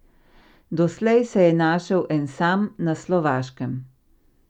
Doslej se je našel en sam, na Slovaškem.